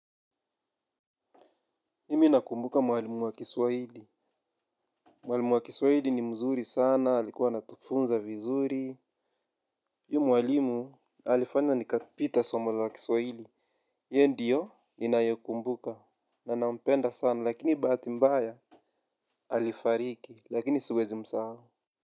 Mimi nakumbuka mwalimu wa kiswahili. Mwalimu wa kiswahili ni mzuri sana. Alikuwa anatufunza vizuri. Huyu mwalimu alifanya nikapita somo la kiswahili. Ye ndio ninayekumbuka. Na nampenda sana lakini bahati mbaya. Alifariki lakini siwezi msahau.